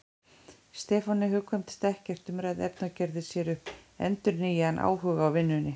Stefáni hugkvæmdist ekkert umræðuefni og gerði sér upp endurnýjaðan áhuga á vinnunni.